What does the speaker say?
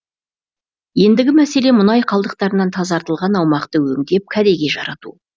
ендігі мәселе мұнай қалдықтарынан тазартылған аумақты өңдеп кәдеге жарату